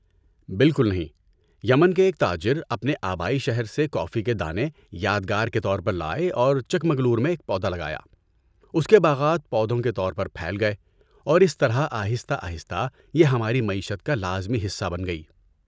بالکل نہیں! یمن کے ایک تاجر اپنے آبائی شہر سے کافی کے دانے یادگار کے طور پر لائے اور چکمگلور میں ایک پودا لگایا۔ اس کے باغات پودوں کے طور پر پھیل گئے، اور اس طرح آہستہ آہستہ یہ ہماری معیشت کا لازمی حصہ بن گئی۔